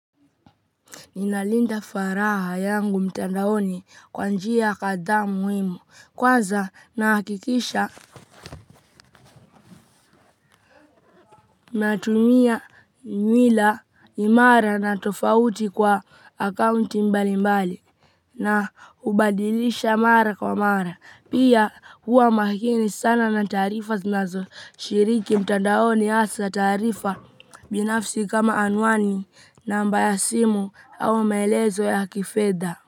Ninalinda faragha yangu mtandaoni kwa njia kadhaa muhimu natumia nywila imara na tofauti kwa akaunti mbali mbali na hubadilisha mara kwa mara pia huwa makini sana na taarifa zinazo shiriki mtandaoni hasa taarifa binafsi kama anwani namba ya simu au maelezo ya kifedha.